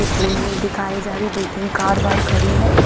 ये पुल वुल दिखाई जा रहे है दो तिन कार वार खड़ी है एक--